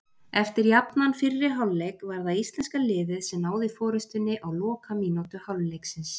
Eftir jafnan fyrri hálfleik var það íslenska liðið sem náði forystunni á lokamínútu hálfleiksins.